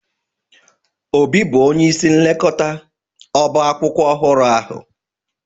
Obi bụ onye isi nlekọta ọba akwụkwọ ọhụrụ ahụ